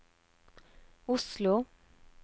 Oslo